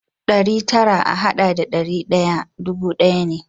Ɗari tara a haɗa da ɗari ɗaya dubu ɗaya ne.